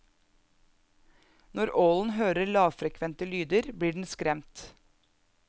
Når ålen hører lavfrekvente lyder, blir den skremt.